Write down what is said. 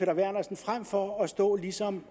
frem for at stå og ligesom